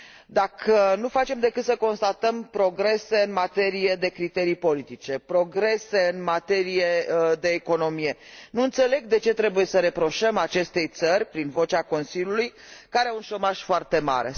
Dacă nu facem decât să constatăm progrese în materie de criterii politice, progrese în materie de economie, nu înțeleg de ce trebuie să reproșăm acestei țări, prin vocea Consiliului, că are un șomaj foarte mare.